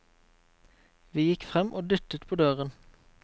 Vi gikk frem og dyttet på døren.